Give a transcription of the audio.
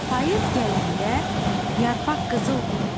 Payız gələndə yarpaq qızıldır.